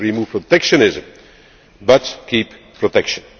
We should remove protectionism but keep